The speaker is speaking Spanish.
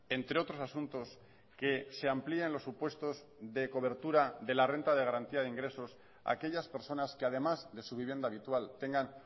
entre otros asuntos que se amplíen los supuestos de cobertura de la renta de garantía de ingresos a aquellas personas que además de su vivienda habitual tengan